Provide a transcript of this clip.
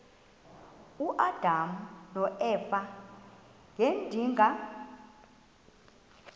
uadam noeva ngedinga